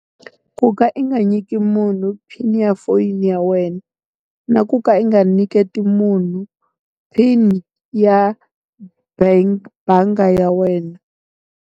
Ku ka i nga nyiki munhu PIN ya foyini ya wena. Na ku ka u nga nyiketi munhu PIN ya bank bangi ya wena.